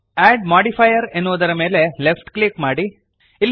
ಅಡ್ modifier ಎನ್ನುವುದರ ಮೇಲೆ left click ಮಾಡಿರಿ